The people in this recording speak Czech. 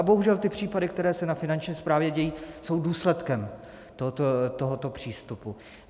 A bohužel ty případy, které se na Finanční správě dějí, jsou důsledkem tohoto přístupu.